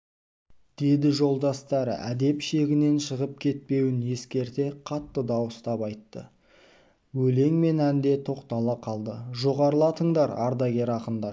деді жолдастары әдеп шегінен шығып кетпеуін ескерте қатты дауыстап айтты өлең мен ән де тоқтала қалды жоғарылатыңдар ардагер ақындар